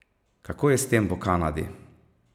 Kako je s tem v Kanadi?